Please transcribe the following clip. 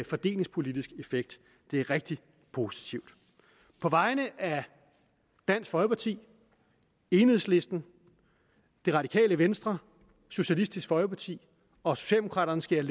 fordelingspolitisk effekt det er rigtig positivt på vegne af dansk folkeparti enhedslisten det radikale venstre socialistisk folkeparti og socialdemokraterne skal jeg